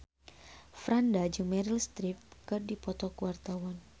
Franda jeung Meryl Streep keur dipoto ku wartawan